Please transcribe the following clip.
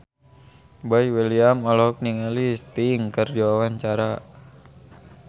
Boy William olohok ningali Sting keur diwawancara